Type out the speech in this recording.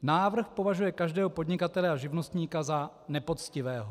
Návrh považuje každého podnikatele a živnostníka za nepoctivého.